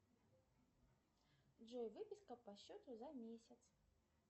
джой выписка по счету за месяц